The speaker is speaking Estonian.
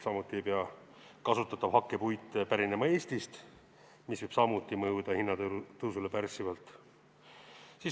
Samuti ei pea kasutatav hakkpuit pärinema Eestist, mis võib samuti mõjuda hinnatõusule pärssivalt.